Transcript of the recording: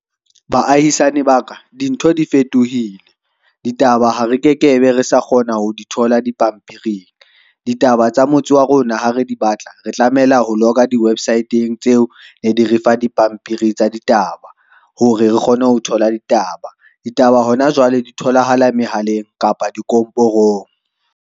Baahisane ba ka, dintho di fetohile. Ditaba ha re ke ke be re sa kgona ho di thola dipampiring, ditaba tsa motse wa rona, ha re di batla re tlamela ho logger di-website-eng tseo ne di refa di pampiri tsa ditaba, hore re kgone ho thola ditaba. Ditaba hona jwale di tholahala mehaleng kapa di komporong.